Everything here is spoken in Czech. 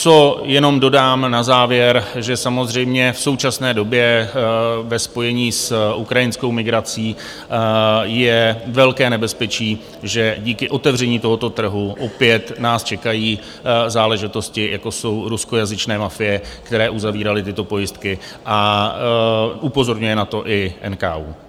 Co jenom dodám na závěr, že samozřejmě v současné době ve spojení s ukrajinskou migrací je velké nebezpečí, že díky otevření tohoto trhu opět nás čekají záležitosti, jako jsou ruskojazyčné mafie, které uzavíraly tyto pojistky, a upozorňuje na to i NKÚ.